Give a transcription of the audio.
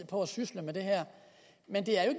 på at sysle med det her men det er jo